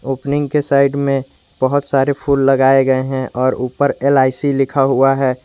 Opening के side में बहोत सारे फूल लगाए गए हैं और ऊपर एल_आई_सी लिखा हुआ है।